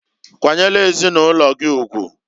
Kwanyelu ezinulogi ugwuǃ